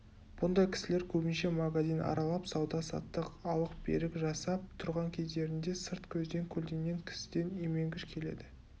бұндай кісілер көбінше магазин аралап сауда-саттық алық-берік жасап тұрған кездерінде сырт көзден көлденең кісіден именгіш келеді